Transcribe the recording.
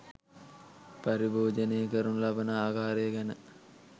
පරිභෝජනය කරනු ලබන ආකාරය ගැන